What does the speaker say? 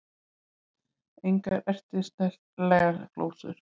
Engar ertnislegar glósur.